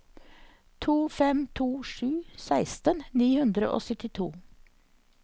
to fem to sju seksten ni hundre og syttito